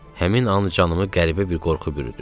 Həmin an canımı qəribə bir qorxu bürüdü.